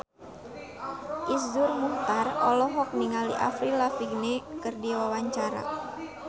Iszur Muchtar olohok ningali Avril Lavigne keur diwawancara